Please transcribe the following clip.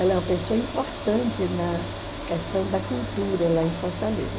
Ela é uma pessoa importante na questão da cultura lá em Fortaleza.